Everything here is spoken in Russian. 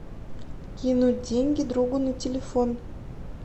кинуть деньги другу на телефон